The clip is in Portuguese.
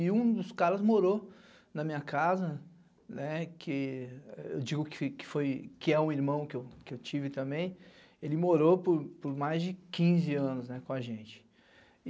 E um dos caras morou na minha casa, que eu digo que é um irmão que eu tive também, ele morou por mais de quinze anos com a gente.